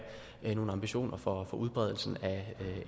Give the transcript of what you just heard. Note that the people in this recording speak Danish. nogle ambitioner for udbredelsen af